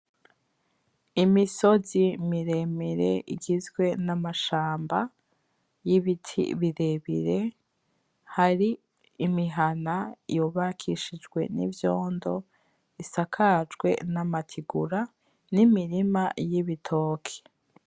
Imisozi miremire igizwe n'amashamba y'ibiti birebire, hari imihana yubakishijwe n'ivyondo isakajwe n'amatigura n'imirima y'Ibitoki.